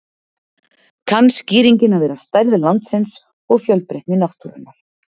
kann skýringin að vera stærð landsins og fjölbreytni náttúrunnar